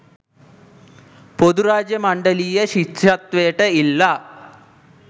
පොදු රාජ්‍ය මණ්ඩලීය ශිෂ්‍යත්වයට ඉල්ලා,